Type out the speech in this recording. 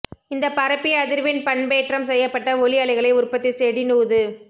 இந்த பரப்பி அதிர்வெண் பண்பேற்றம் செய்யப்பட்ட ஒலி அலைகளை உற்பத்தி செடீநுது